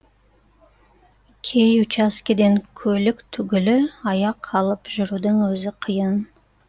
кей учаскеден көлік түгілі аяқ алып жүрудің өзі қиын